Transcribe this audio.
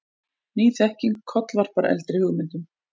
Ný þekking kollvarpar eldri hugmyndum.